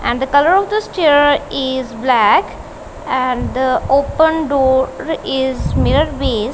and the colour of this chair is black and open door is mirror .